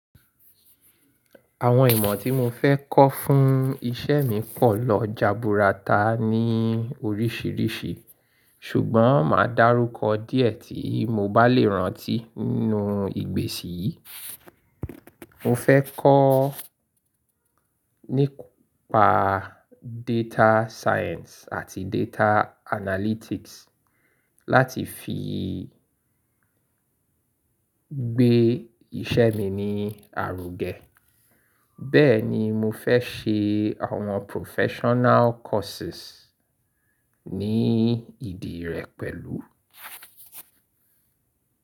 Àwọn ìmọ̀ tí mo fẹ́ kọ́ fún iṣẹ́ mi pọ̀ lọ jaburata ní oríṣìíríṣìí ṣùgbọ́n màá dárúkọ díẹ̀ tí mo bá lè rántí nínú ìgbésì yìí. Mo fẹ́ kọ́ nípa data science àti data analytics láti fi gbé iṣẹ́ mi ní àrò gẹ. Bẹ́ẹ̀ ni mo fẹ́ ṣe àwọn professional courses ní ìdí rẹ̀ pẹ̀lú.